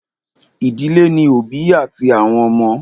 Ìdílé ní òbí àti àwọn ọmọ.